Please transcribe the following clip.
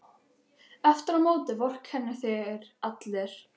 Aftur á móti vorkenna þér allir.